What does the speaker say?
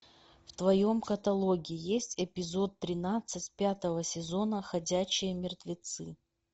в твоем каталоге есть эпизод тринадцать пятого сезона ходячие мертвецы